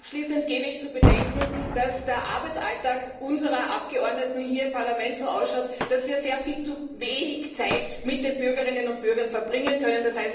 Abschließend gebe ich zu bedenken, dass der Arbeitsalltag unserer Abgeordneten hier im Parlament so ausschaut, dass wir viel zu wenig Zeit mit den Bürgerinnen und Bürgern verbringen können.